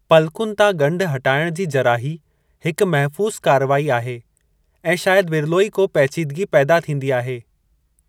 पलकुनि तां गंढु हटायणु जी जराही हिकु महफ़ूज़ु कारवाई आहे ऐं शायद विरलो ई को पैचीदगी पैदा थींदी आहे।